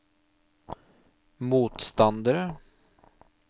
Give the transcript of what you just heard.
motstandere